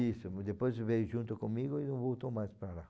mas depois veio junto comigo e não voltou mais para lá.